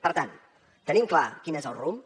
per tant tenim clar quin és el rumb